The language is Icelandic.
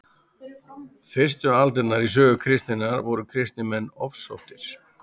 fyrstu aldirnar í sögu kristninnar voru kristnir menn ofsóttir